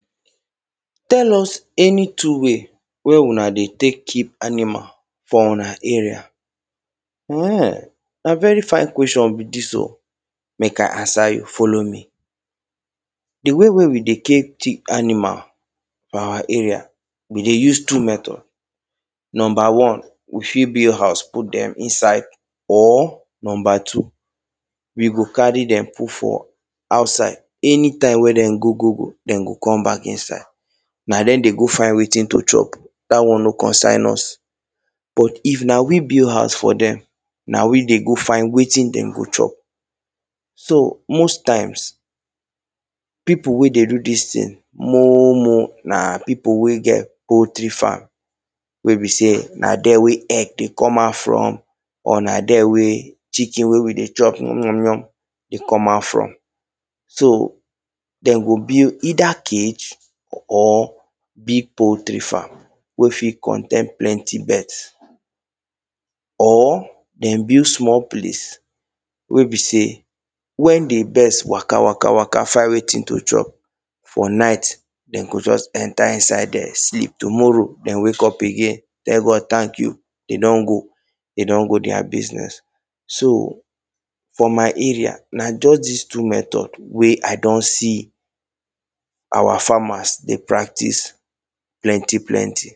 Tell us any two way wey una dey tek keep animal for una area. [um ]Na very fine question be dis o. Mek I answer you, follow me. The way wey we dey tek keep animal for our arae, we dey use two method. Number one: we fit build house put them inside. Or, number two: we go carry them put for outside. Anytime wey them go, go, go, them go come back inside. Na them dey go find wetin to chop, dat one no concern us. But, if na we build house for them, na we dey go find wetin them go chop. So, most times, people wey dey do dis thing more, more, na people wey get poultry farm. Wey be say na there egg dey come out from. Or na there wey chicken wey we dey chop mwo, mwo dey come out from. So, them go build either cage or, big poultry farm wey fit contain plenty birds. Or, them build small place wey be say when the birds waka, waka, find wetin to chop for night, them go just enter inside there, sleep. Tomorrow, them wake up again, tell God thank you, them don go, them don go their business. So, for my area, na just dis two method wey I don see our farmers dey practice plenty, plenty.